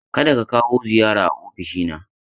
Ka da ka kawo ziyara a ofishina.